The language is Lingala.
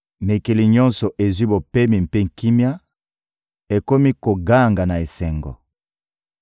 Mikili nyonso ezwi bopemi mpe kimia, ekomi koganga na esengo.